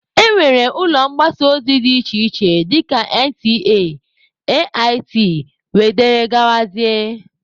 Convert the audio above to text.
E nwere ụlọ mgbasa ozi dị iche iche dịka NTA, AIT wdg.